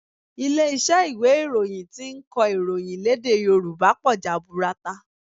Ilé iṣẹ́ ìwé ìròyìn tí ń kọ ìròyìn lédè Yòrùbá pọ̀ jaburata